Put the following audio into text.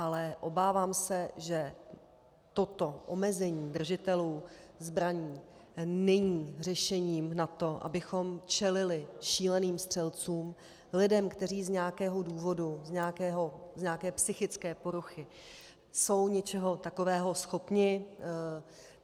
Ale obávám se, že toto omezení držitelů zbraní není řešením na to, abychom čelili šíleným střelcům, lidem, kteří z nějakého důvodu, z nějaké psychické poruchy jsou něčeho takového schopni.